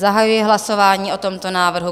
Zahajuji hlasování o tomto návrhu.